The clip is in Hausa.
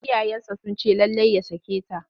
Iyayensa sun ce lallai ya sake ta.